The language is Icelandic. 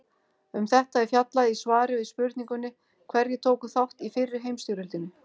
Um þetta er fjallað í svari við spurningunni Hverjir tóku þátt í fyrri heimsstyrjöldinni?